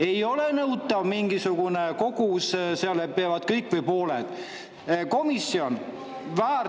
Ei ole nõutav mingisugune kogus, see, et kõik või pooled peavad.